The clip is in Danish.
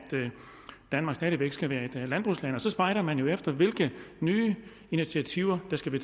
danmark stadig væk skal være et landbrugsland og så spejder man jo efter hvilke nye initiativer der skal